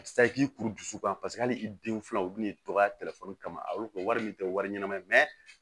A tɛ se k'i kuru dusukun paseke hali i denw filɛ u bɛ n'i tɔgɔ kama a y'o kɛ wari min tɛ wari ɲɛnama ye